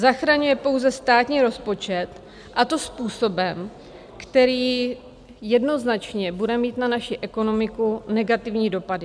Zachraňuje pouze státní rozpočet, a to způsobem, který jednoznačně bude mít na naši ekonomiku negativní dopady.